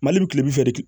Mali bi kilebi fɛ de